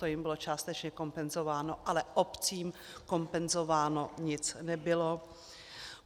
To jim bylo částečně kompenzováno, ale obcím kompenzováno nic nebylo.